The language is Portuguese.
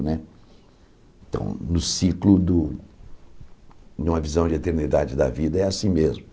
Né então, no ciclo do numa visão de eternidade da vida, é assim mesmo.